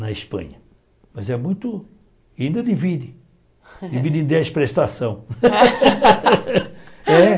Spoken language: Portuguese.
na Espanha, mas é muito, ainda divide, divide em dez prestações. É